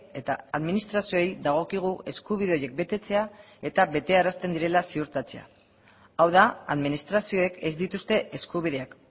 eta administrazioei dagokigu eskubide horiek betetzea eta betearazten direla ziurtatzea hau da administrazioek ez dituzte eskubideak